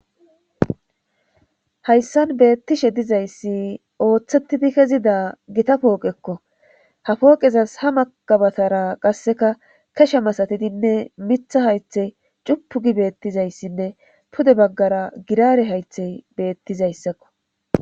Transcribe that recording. hayssan beettishe dizayssi ooththettidi kezida gita pooqekko ha pooqezas ha makabatara qasseka kesha masatidinne mitha haythe cupugi beettizayssinne pude baggara girare haythey beettizayssakko